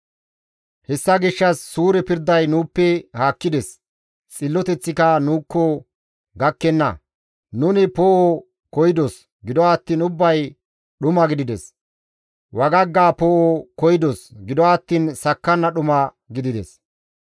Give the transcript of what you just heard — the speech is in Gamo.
Hessa gishshas suure pirday nuuppe haakkides; xilloteththika nuukko gakkenna. Nuni poo7o koyidos; gido attiin ubbay dhuma gidides; wagagga poo7o koyidos; gido attiin sakkanna dhuma gidides.